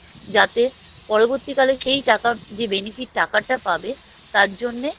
যাতে পরবর্তীকালে সেই টাকার যে benefit টাকাটা পাবে তার জন্যে